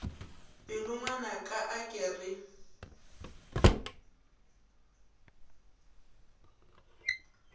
pelo ngwanaka a ke re